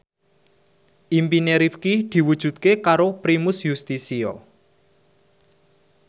impine Rifqi diwujudke karo Primus Yustisio